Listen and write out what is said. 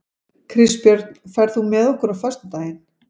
Kristbjörn, ferð þú með okkur á föstudaginn?